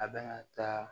A bɛna taa